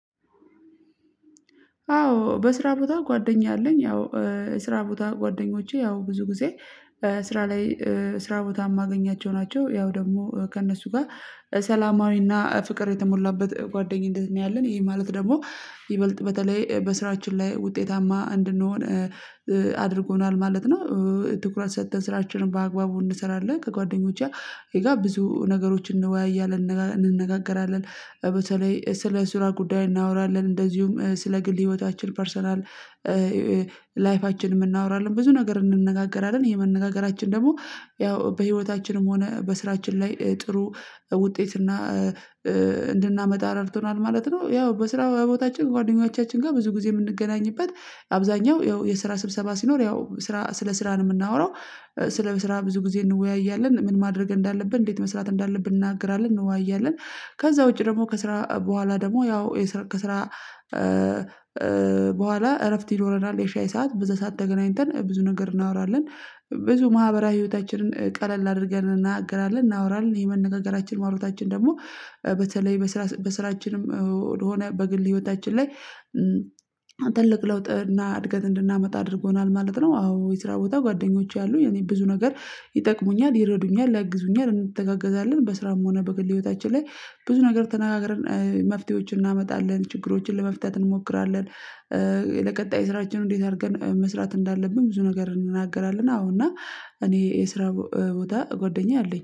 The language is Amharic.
አዎ በስራ ቦታ ጓደኛ አለኝ። ያው ስራ ቦታ ጓደኞቼ ያው ብዙ ጊዜ ስራ ላይ ስራ ቦታ የማገኛቸው ናቸው። ያው ደግሞ ከእነሱ ጋር ሰላማዊና ፍቅር የተሞላበት ጓደኝነት ነው። ያለን ይሄ ማለት ደግሞ ይበልጥ በተለይ በስራችን ላይ ውጤታማ እንድንሆን አድርጎናል ማለት ነው። ትኩረት ሰጥተን ስራችንን በአግባቡ እንሰራለን ከጓደኞቼ ጋር ብዙ ነገሮችን እንወያያለን እንነጋገራለን። በተለይ ስለ ስራ ጉዳይ እናወራለን እንደዚሁም ስለ ግል ህይወታችን ፐርሰናል ላይፋችንም እናወራለን ብዙ ነገር እንነጋገራለን የመነጋገራችን ደግሞ ያው በህይወታችንም ሆነ በስራችን ላይ ጥሩ ውጤት እና እንድናመጣ ረድቶናል ማለት ነው። ያው በስራ ቦታችን ጓደኞቻችን ጋር ብዙ ጊዜ የምንገናኝበት አብዛኛው ያው የስራ ስብሰባ ሲኖር ያው ስራ ስለ ስራ ነው የምናወራው። ስለ ስራ ብዙ ጊዜ እንወያያለን ምን ማድረግ እንዳለብን እንዴት መስራት እንዳለብን እናገራለን እንወያያለን። ከዛ ውጪ ደግሞ ከስራ በኋላ ደግሞ ያው ከስራ በኋላ እረፍት ይኖረናል የሻይ ሰዓት ብዙ ሰዓት ተገናኝተን ብዙ ነገር እናወራለን። ብዙ ማህበራዊ ህይወታችንን ቀለል አድርገን እንነጋገራለን እናወራለን ይሄ መነጋገራችን ማውራታችን ደግሞ በተለይ በስራ በስራችንም ወደሆነ በግል ህይወታችን ላይ ትልቅ ለውጥ እና እድገት እንድናመጣ አድርጎናል ማለት ነው። አዎ የስራ ቦታ ጓደኞች አሉ የኔ ብዙ ነገር ይጠቅሙኛል ይረዱኛል ያግዙኛል እንተጋገዛለን በስራም ሆነ በግል ህይወታችን ላይ ብዙ ነገር ተነጋግረን መፍትሄዎችን እናመጣለን ችግሮችን ለመፍተት እንሞክራለን። ለቀጣይ ስራችንን እንዴት አድርገን መስራት እንዳለብን ብዙ ነገር እንነጋገራለን አዎ እና እኔ የስራ ቦታ ጎደኛ አለኝ